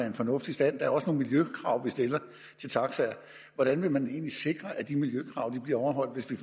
en fornuftig stand der er også nogle miljøkrav vi stiller til taxaer hvordan vil man egentlig sikre at de miljøkrav bliver overholdt hvis vi